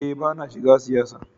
Eh bana shiga siyasa.